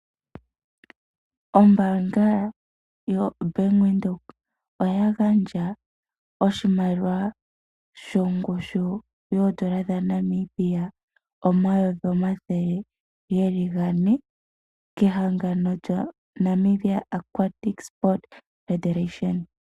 Ombaanga yo Bank Windhoek oya gandja oshimaliwa shongushu yoondola dha Namibia omayovi omathele geli gane kehangano lyo Namibia aquatic sport federation.